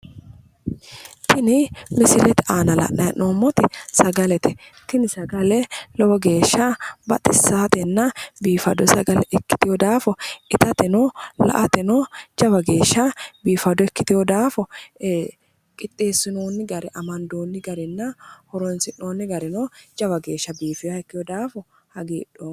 Tini misilete aana la'nanni hee'noommoti sagalete tini sagale lowo geeshsha baxissannotenna biifado sagale ikkitino daafo itateno agateno jawa geeshsha biifado ikkiteewo daafo qixxeessinonni garinna amandoonni gari horoonsi'noonni gari lowo geeshsha biifino daafo hagiidhoomma.